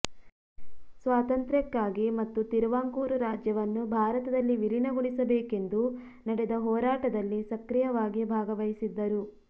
ಸ್ವಾತಂತ್ರ್ಯಕ್ಕಾಗಿ ಮತ್ತು ತಿರುವಾಂಕೂರು ರಾಜ್ಯವನ್ನು ಭಾರತದಲ್ಲಿ ವಿಲೀನಗೊಳಿಸಬೇಕೆಂದು ನಡೆದ ಹೋರಾಟದಲ್ಲಿ ಸಕ್ರಿಯವಾಗಿ ಭಾಗವಹಿಸಿದ್ದರು